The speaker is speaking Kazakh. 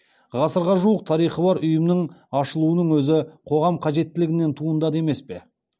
ғасырға жуық тарихы бар ұйымның ашылуының өзі қоғам қажеттілігінен туындады емес пе